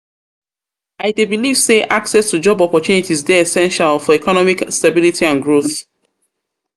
i dey believe say access to job opportunities dey essential for economic stability and growth.